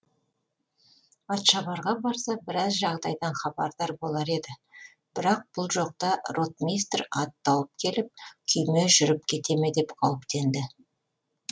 атшабарға барса біраз жағдайдан хабардар болар еді бірақ бұл жоқта ротмистр ат тауып келіп күйме жүріп кете ме деп қауіптенді